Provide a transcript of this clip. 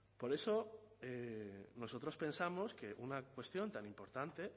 por eso nosotros pensamos que una cuestión tan importante